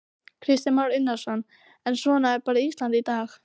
Kristján Már Unnarsson: En svona er bara Ísland í dag?